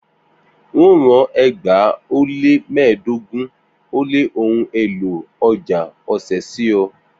N óo rán ẹgbàá ó lé mẹ́ẹ̀ẹ́dọ́gbọ̀n ó lé ohun èlò ọ̀já ọ̀sẹ̀ sí ọ